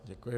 Děkuji.